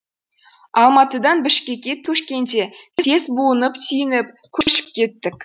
алматыдан бішкекке көшкенде тез буынып түйініп көшіп кеттік